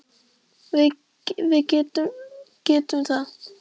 Og við getum það.